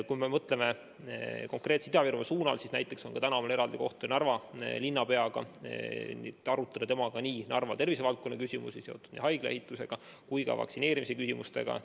Kui mõtleme konkreetselt Ida-Virumaa peale, siis näiteks täna on mul kohtumine Narva linnapeaga, et arutada temaga Narva tervisevaldkonna küsimusi, mis on seotud nii haigla ehituse kui ka vaktsineerimisega.